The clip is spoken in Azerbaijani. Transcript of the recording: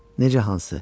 Necə hansı?